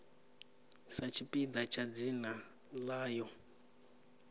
sa tshipiḓa tsha dzina ḽayo